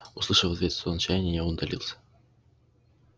услышав в ответ стон отчаяния я удалился